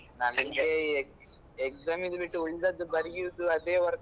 Exam ಇದ್ದು ಬಿಟ್ಟು ಉಳ್ದದ್ದು ಬರಿಯುದು ಅದೇ work .